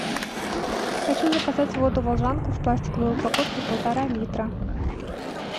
хочу заказать воду волжанку в пластиковой упаковке полтора литра